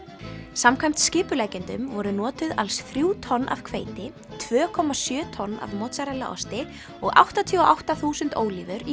samkvæmt skipuleggjendum voru notuð alls þrjú tonn af hveiti tvö komma sjö tonn af mozzarella osti og áttatíu og átta þúsund ólífur í